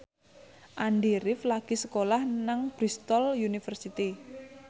Andy rif lagi sekolah nang Bristol university